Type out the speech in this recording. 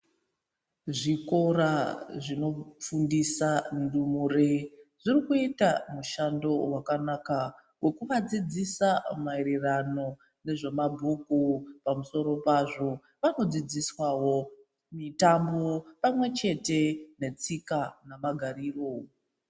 Zvikora zvenokufundisa ndumure zvirikuita mushando wakanaka wekuvadzidzisa maererano nezve mabhuku pamusoro pazvo vano dzidzisawo mitambo pamwechete netsika nemagariro.